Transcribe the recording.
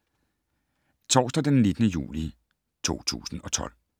Torsdag d. 19. juli 2012